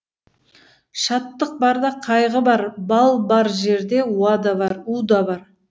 шаттық барда қайғы бар бал бар жерде у да бар